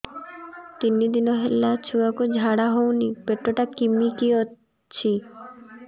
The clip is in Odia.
ତିନି ଦିନ ହେଲା ଛୁଆକୁ ଝାଡ଼ା ହଉନି ପେଟ ଟା କିମି କି ଅଛି